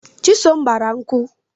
Chisom gbara nkwu